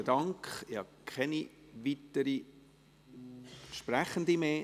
Ich sehe keine weiteren Sprechenden.